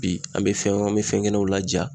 Bi an be fɛn an be fɛn kenenw laja